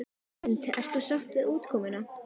Hrund: Ert þú sátt við útkomuna?